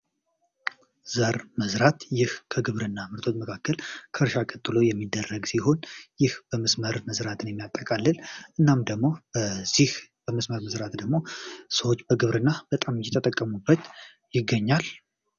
ዘር መዝራት ይህ በግብርና ሂደት ውስጥ በመስመር መዝራትን የሚያጠቃልል ሲሆን ይህ በመስመር መዝራትን ደግሞ ሰዎች በብዛት እየተጠቀሙበት ይገኛል።